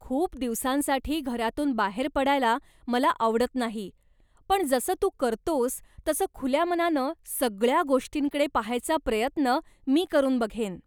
खूप दिवसांसाठी घरातून बाहेर पडायला मला आवडत नाही, पण जसं तू करतोस तसं खुल्या मनानं सगळ्या गोष्टींकडे पाहायचा प्रयत्न मी करून बघेन.